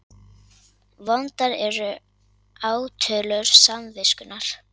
Vondar eru átölur samviskunnar.